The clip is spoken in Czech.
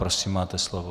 Prosím, máte slovo.